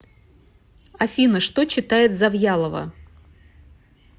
афина что читает завьялова